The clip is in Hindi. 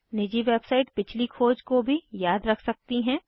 निजी वेबसाइट पिछली खोज को भी याद रख सकती हैं